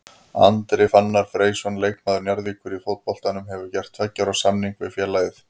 Andri Fannar Freysson leikmaður Njarðvíkur í fótboltanum hefur gert tveggja ára samning við félagið.